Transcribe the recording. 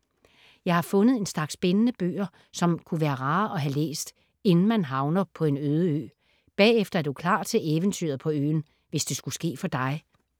Jeg har fundet en stak spændende bøger, som kunne være rare at have læst, inden man havner på en øde ø. Bagefter er du er klar til eventyret på øen, hvis det skulle ske for dig!